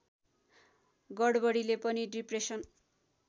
गडबडीले पनि डिप्रेसन